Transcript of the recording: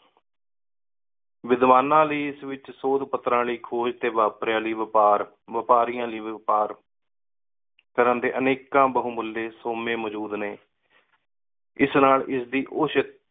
ਵਿਦਿਵਾਨਾਂ ਲੈ ਏਸ ਵਿਚ ਸੋਦ ਪਤਰਾਂ ਲੈ ਖੋਜ ਤੇ ਵ੍ਯਾਪਰਿਯਾ ਲੈ ਵ੍ਯਾਪਾਰ, ਵਾਪਾਰਿਯਾਂ ਲੈ ਵ੍ਯਾਪਾਰ ਕਰਨ ਦੇ ਅਨੇਕਾ ਬਹੁਮੂਲ੍ਯ ਸੋਮੇ ਮੋਜੋੜ ਨੇ। ਏਸ ਨਾਲ ਏਸ ਦੀ ਔਸਤ